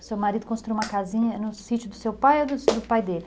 O seu marido construiu uma casinha no sítio do seu pai ou do pai dele?